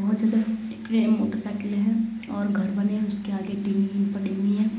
बहोत ज्यादा मोटरसाइकलें है और घर बने है उसके आगे टीन पड़ी हुई है |